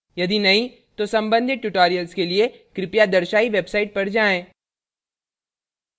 यदि नहीं तो सम्बंधित tutorials के लिए कृपया दर्शायी website पर जाएँ